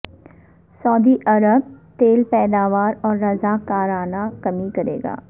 سعودی عرب تیل پیداور میں رضاکارانہ کمی کرے گا